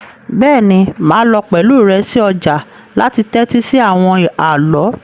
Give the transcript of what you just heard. Béèni máà lo pẹ̀lu rẹ si ojà láti tẹ́tí si àwon àló